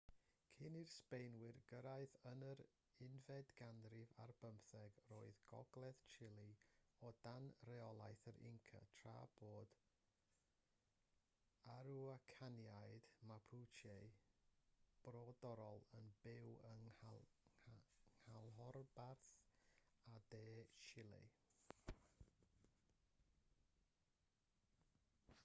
cyn i'r sbaenwyr gyrraedd yn yr unfed ganrif ar bymtheg roedd gogledd chile o dan reolaeth yr inca tra bod yr aruacaniaid mapuche brodorol yn byw yng nghanolbarth a de chile